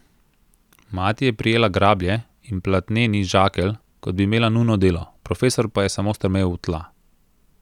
Mati je prijela grablje in platneni žakelj, kot bi imela nujno delo, profesor pa je samo strmel v tla.